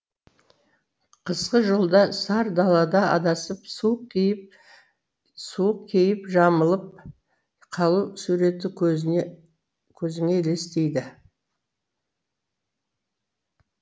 қысқы жолда сар далада адасып суық кейіп жамылып қалу суреті көзіңе елестейді